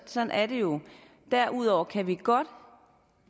sådan er det jo derudover kan vi godt